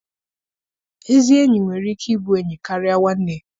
Ezi enyi nwere ike ịbụ enyi karịa nwanne.